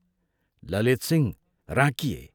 Lalitsingh राँकिए।